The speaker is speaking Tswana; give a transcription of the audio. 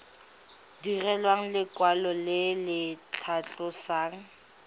direlwa lekwalo le le tlhalosang